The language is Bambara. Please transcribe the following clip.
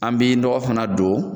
An be nɔgɔ fana don